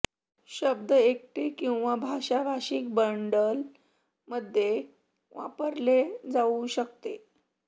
शब्द एकटे किंवा भाषा भाषिक बंडल मध्ये वापरले जाऊ शकते